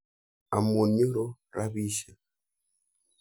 Amun nyoru rapisyek.